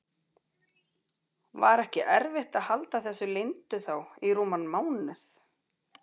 Var ekki erfitt að halda þessu leyndu þá í rúman mánuð?